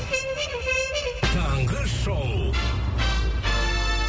таңғы шоу